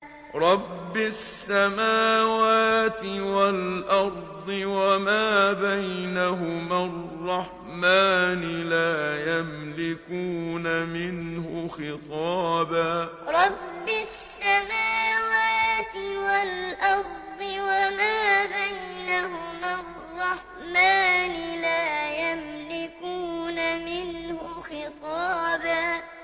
رَّبِّ السَّمَاوَاتِ وَالْأَرْضِ وَمَا بَيْنَهُمَا الرَّحْمَٰنِ ۖ لَا يَمْلِكُونَ مِنْهُ خِطَابًا رَّبِّ السَّمَاوَاتِ وَالْأَرْضِ وَمَا بَيْنَهُمَا الرَّحْمَٰنِ ۖ لَا يَمْلِكُونَ مِنْهُ خِطَابًا